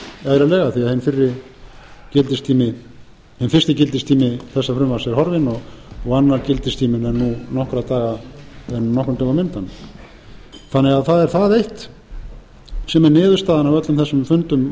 breytt eðlilega því að hinn fyrsti gildistími þessa frumvarps er horfinn og annar gildistíminn er nokkrum dögum undan það er það eitt sem er niðurstaðan af öllum þessum fundum